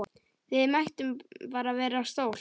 Við mættum bara vera stolt!